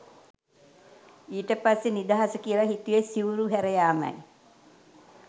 ඊට පස්සේ නිදහස කියල හිතුවෙ සිවුරු හැරයාමයි